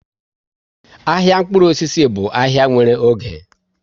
Ahịa mkpụrụ osisi bụ ahai nwere oge